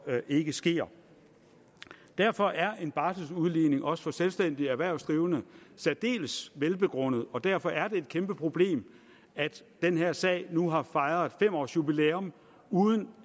ikke sker derfor er en barseludligning også for selvstændige erhvervsdrivende særdeles velbegrundet og derfor er det et kæmpeproblem at den her sag nu har fejret fem års jubilæum uden